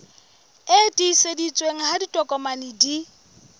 e tiiseditsweng ha ditokomane di